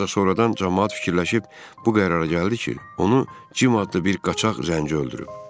Ancaq sonradan camaat fikirləşib bu qərara gəldi ki, onu Cim adlı bir qaçaq zənci öldürüb.